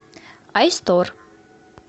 айстор